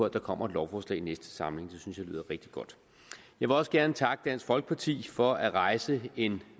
der kommer et lovforslag i næste samling synes jeg lyder rigtig godt jeg vil også gerne takke dansk folkeparti for at rejse en